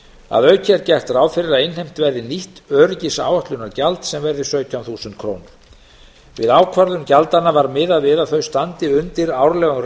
að auki er gert ráð fyrir að innheimt verði nýtt öryggisáætlunargjald sem verði sautján þúsund krónur við ákvörðun gjaldanna var miðað við að þau standi undir árlegum